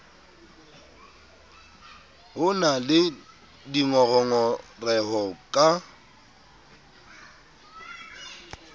ho na le dingongoreho ka